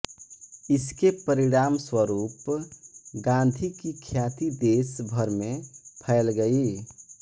इसके परिणामस्वरूप गांधी की ख्याति देश भर में फैल गई